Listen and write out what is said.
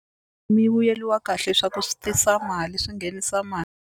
Mi vuyeliwa kahle swa ku swi tisa mali swi nghenisa mali.